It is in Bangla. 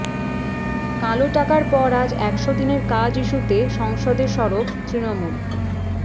কালো টাকার পর আজ একশো দিনের কাজ ইস্যুতে সংসদে সরব তৃণমূল